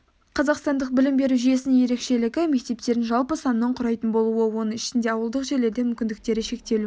қазақстандық білім беру жүйесінің ерекшелігі мектептердің жалпы санының құрайтын болуы оның ішінде ауылдық жерлерде мүмкіндіктері шектеулі